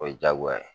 O ye diyagoya ye